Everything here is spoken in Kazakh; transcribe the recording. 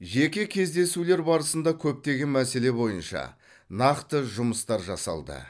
жеке кездесулер барысында көптеген мәселе бойынша нақты жұмыстар жасалды